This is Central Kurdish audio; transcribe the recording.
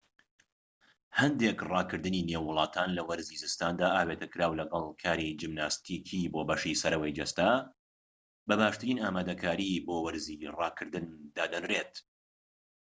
هەندێک ڕاكردنی نێو وڵاتان لە وەرزی زستاندا ئاوێتەکراو لەگەڵ کاری جیمناستیکی بۆ بەشی سەرەوەی جەستە بە باشترین ئامادەکاری بۆ وەرزی ڕاکردن دادەنرێت